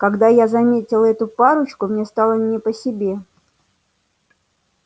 когда я заметил эту парочку мне стало не по себе